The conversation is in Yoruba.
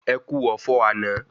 Ẹkú ọ̀fọ̀ àná